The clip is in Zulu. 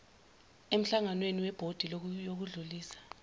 emhlanganweni webhodi yokudlulisa